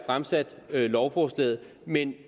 fremsat lovforslaget men